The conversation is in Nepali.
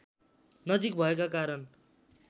नजिक भएका कारण